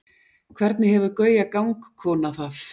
hvernig hefur gauja gangkona það